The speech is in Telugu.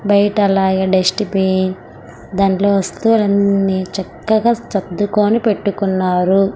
బయట అలాగే డస్ట్ పీ-- దాంట్లో వస్తువులన్నీ చక్కగా సద్దుకొని పెట్టుకున్నారు.